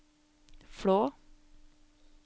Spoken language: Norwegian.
Flå